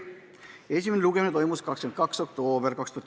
Esimene lugemine toimus 22. oktoobril.